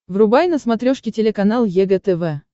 врубай на смотрешке телеканал егэ тв